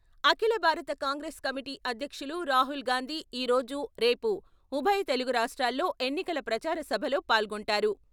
అఖిల భారత కాంగ్రెస్ కమిటీ అధ్యక్షులు రాహుల్ గాంధీ ఈ రోజు, రేపు ఉభయ తెలుగు రాష్ట్రాల్లో ఎన్నికల ప్రచార సభలో పాల్గొంటారు.